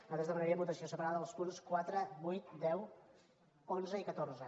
sí nosaltres demanaríem votació separada dels punts quatre vuit deu onze i catorze